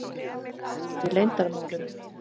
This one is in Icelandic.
Þær eru í leyndarmálum.